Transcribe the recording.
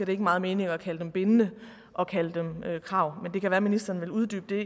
det ikke meget mening at kalde dem bindende og at kalde dem krav men det kan være at ministeren vil uddybe